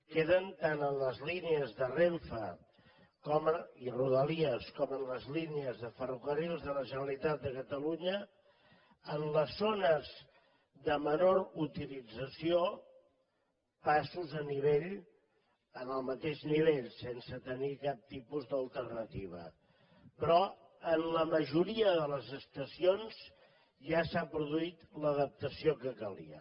queden tant en les línies de renfe i rodalies com en les línies de ferrocarrils de la generalitat de catalunya en les zones de menor utilització passos a nivell en el mateix nivell sense tenir cap tipus d’alternativa però en la majoria de les estacions ja s’ha produït l’adaptació que calia